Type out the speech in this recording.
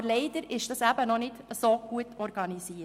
Aber leider ist das noch nicht so gut organisiert.